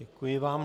Děkuji vám.